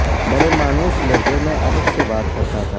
بڑے مانوس لہجے میں ادب سے بات کرتا تھا